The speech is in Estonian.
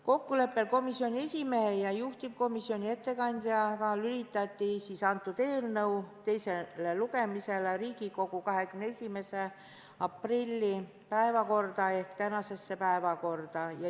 Kokkuleppel komisjoni esimehe ja juhtivkomisjoni ettekandjaga lülitati eelnõu teine lugemine Riigikogu 21. aprilli istungi päevakorda.